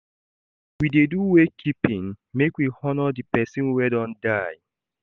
We dey do wake keeping make we honor di pesin wey don die.